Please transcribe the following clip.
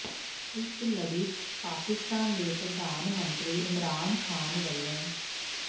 ਇਸ ਲੜੀ ਚ ਪਾਕਿਸਤਾਨ ਦੇ ਪ੍ਰਧਾਨ ਮੰਤਰੀ ਇਮਰਾਨ ਖ਼ਾਨ ਵਲੋਂ